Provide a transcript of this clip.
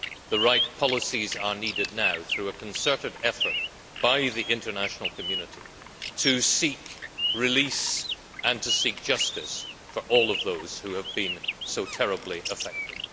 The right policies are needed now, through a concerted effort by the international community, to seek release and justice for all of those who have been so terribly affected.